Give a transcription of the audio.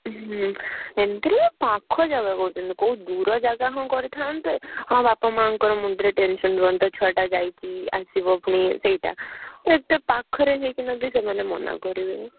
ହୁଁ ଏମତିରେ ବି ପାଖ ଜାଗା କରୁଛନ୍ତି କୋଉ ଦୂର ଜାଗା ହଁ କରିଥାନ୍ତେ ହଁ ବାପା ମାଆଙ୍କ ମୁଣ୍ଡରେ tension ରୁହନ୍ତା ହଁ ଛୁଆ ଟା ଯାଇଛି ଆସିବା ପୁଣି ସେଇଟା ଆଉ ଏତେ ପାଖରେ ହେଇକି ସେ ଯଦି ମନା କରିବେ।